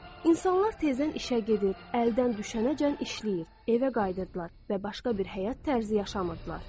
İnsanlar tezdən işə gedir, əldən düşənəcən işləyir, evə qayıdırdılar və başqa bir həyat tərzi yaşamırdılar.